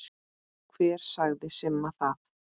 Hver sagði Simma það?